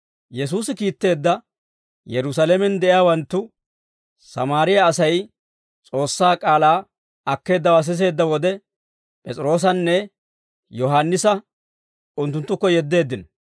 Yesuusi kiitteedda Yerusaalamen de'iyaawanttu, Sammaariyaa Asay S'oossaa k'aalaa akkeeddawaa siseedda wode, P'es'iroosanne Yohaannisa unttunttukko yeddeeddino.